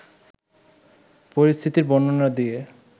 পরিস্থিতির বর্ণনা দিয়ে